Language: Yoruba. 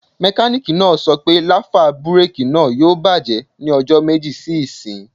Mẹkánìkì náà sọ pé láfà búrèkì náà yóò bàjẹ́ ní ọjọ́ méjì sí ìsín